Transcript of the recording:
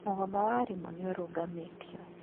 Mũgomo wa aarimũ nĩ ũrũgamĩtio.